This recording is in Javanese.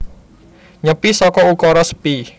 Nyepi saka ukara sepi